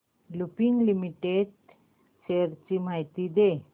Lupin limited shares ची माहिती दे